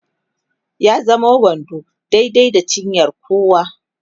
ya zamo wando daidai da cinyar kowa